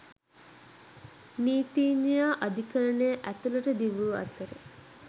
නීතිඥයා අධිකරණය ඇතුළට දිවූ අතර